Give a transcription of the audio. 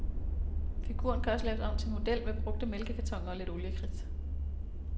Figuren kan også laves om til en model med brugte mælkekartoner og lidt oliekridt.